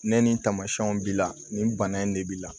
Ne nin tamasiyɛnw b'i la nin bana in de b'i la